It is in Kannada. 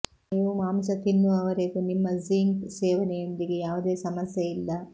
ನೀವು ಮಾಂಸ ತಿನ್ನುವವರೆಗೂ ನಿಮ್ಮ ಝಿಂಕ್ ಸೇವನೆಯೊಂದಿಗೆ ಯಾವುದೇ ಸಮಸ್ಯೆ ಇಲ್ಲ